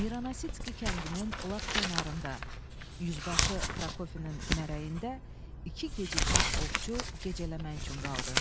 Miransitski kəndinin lap kənarında yüzbaşı Prokofiyin mərəyində iki gecikmiş ovçu gecələmək üçün qaldı.